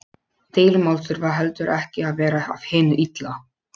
Deilumál þurfa heldur ekki að vera af hinu illa.